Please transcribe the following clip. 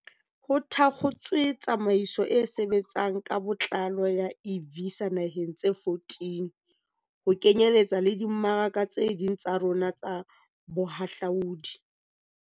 Ho thakgotswe tsamaiso e sebtsang ka botlalo ya e-Visa dinaheng tse 14, ho kenyeletsa le dimmaraka tse ding tsa rona tsa bohahlaodi.